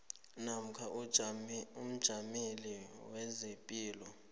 namkha umjameli wezepilo